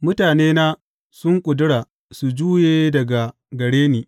Mutanena sun ƙudura su juye daga gare ni.